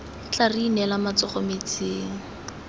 tla re inela matsogo metsing